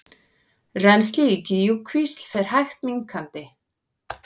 Rennsli í Gígjukvísl fer hægt minnkandi